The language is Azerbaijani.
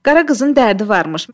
Qara qızın dərdi varmış.